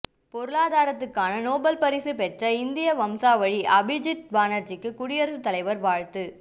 பொருளாதாரத்துக்கான Nobel பரிசு பெற்ற இந்திய வம்சாவழி அபிஜித் பானர்ஜிக்கு குடியரசுத் தலைவர் வாழ்த்து